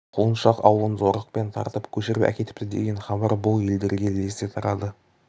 құлыншақ аулын зорлықпен тартып көшіріп әкетіпті деген хабар бұл елдерге лезде тарады